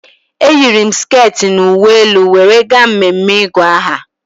Eyiri m sket na uwe elu were gaa mmeme ịgụ aha